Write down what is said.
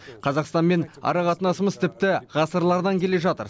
қазақстанмен ара қатынасымыз тіпті ғасырлардан келе жатыр